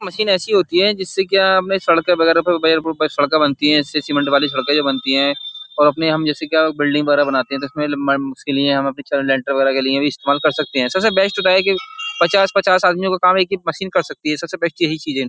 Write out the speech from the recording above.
Machine ऐसी होती है जिससे क्या अपने सड़के वगैरह पर वो ब वो सड़के बनती है इससे सीमेंट वाली सड़क जो बनती है और अपने हम जैसे क्या बिल्डिंग वगैरह बनाते हैं तो इसमें उसके लिए हम अपनी च लेंटर वगैरह के लिए भी इस्तेमाल कर सकते हैं। सबसे बेस्ट होता है कि पचास-पचास आदमियों का काम एक मशीन कर सकती है। सबसे बेस्ट यही चीज है।